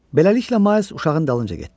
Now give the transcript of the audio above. Beləliklə Miles uşağın dalınca getdi.